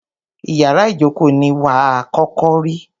Ìyárá ìjókó ní wà à kọ́kọ́ rí.